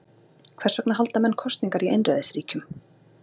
Hvers vegna halda menn kosningar í einræðisríkjum?